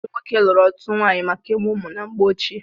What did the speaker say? Ụmụ nwoke lụrụ ọtụtụ nwaanyị maka ịmụ ụmụ na mgbe ochie.